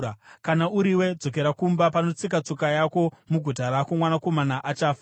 “Kana uriwe, dzokera kumba. Panotsika tsoka yako muguta rako, mwanakomana achafa.